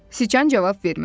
Siçan cavab vermədi.